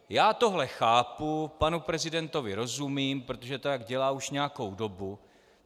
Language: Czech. Já tohle chápu, panu prezidentovi rozumím, protože to tak dělá už nějakou dobu.